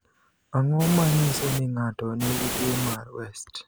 Ang’o ma nyiso ni ng’ato nigi tuwo mar West?